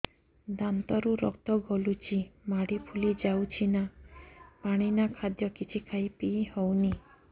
ଦାନ୍ତ ରୁ ରକ୍ତ ଗଳୁଛି ମାଢି ଫୁଲି ଯାଉଛି ନା ପାଣି ନା ଖାଦ୍ୟ କିଛି ଖାଇ ପିଇ ହେଉନି